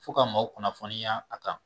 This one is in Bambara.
Fo ka maaw kunnafoniya a kan.